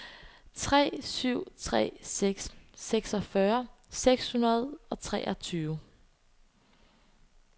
tre syv tre seks seksogfyrre seks hundrede og treogtyve